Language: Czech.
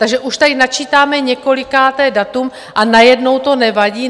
Takže už tady načítáme několikáté datum a najednou to nevadí?